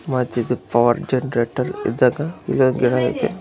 ಮತ್ತಿದು power generator ಇದ್ದಾಗ ಇಲ್ಲೊಂದ್ ಗಿಡ ಇದೆ.